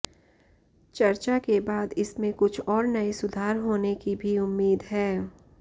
चर्चा के बाद इसमें कुछ और नए सुधार होने की भी उम्मीद है